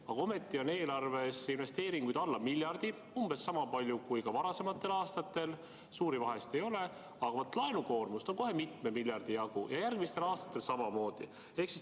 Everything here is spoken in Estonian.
Aga ometi on eelarves investeeringuid alla miljardi, umbes sama palju kui ka varasematel aastatel, suurt vahet ei ole, aga vaat laenukoormust on kohe mitme miljardi jagu, ja järgmistel aastatel samamoodi.